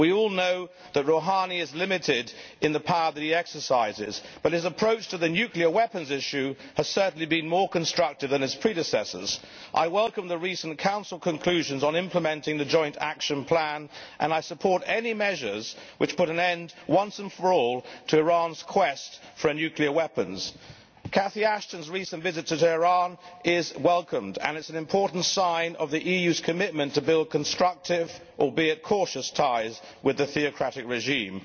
We all know that Rouhani is limited in the power that he exercises, but his approach to the nuclear weapons issue has certainly been more constructive than that of his predecessors. I welcome the recent Council conclusions on implementing the joint action plan and I support any measures which put an end, once and for all, to Iran's quest for nuclear weapons. Lady Catherine Ashton's recent visit to Tehran is welcomed and is an important sign of the EU's commitment to build constructive, albeit cautious, ties with the theocratic regime.